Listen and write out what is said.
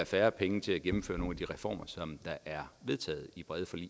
færre penge til at gennemføre nogle af de reformer der er vedtaget i brede forlig